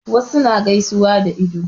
Wasu suna gaisuwa da ido.